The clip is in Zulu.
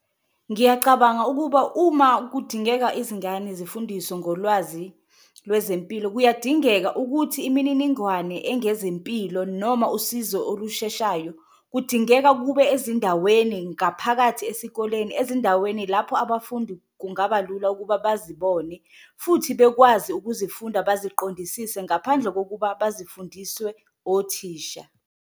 Ngiyacabanga ukuba uma kudingeka izingane zifundiswe ngolwazi lwezempilo, kuyadingeka ukuthi imininingwane engezempilo noma usizo olusheshayo kudingeka kube ezindaweni ngaphakathi esikoleni. Ezindaweni lapho abafundi kungabalula ukuba bazibone futhi bekwazi ukuzifunda, baziqondisise ngaphandle kokuba bazifundiswe othisha.